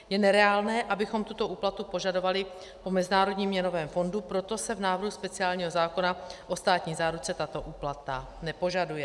Je nereálné, abychom tuto úplatu požadovali po Mezinárodním měnovém fondu, proto se v návrhu speciálního zákona o státní záruce tato úplata nepožaduje.